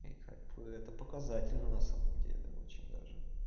и как бы это показатель ну на самом деле очень даже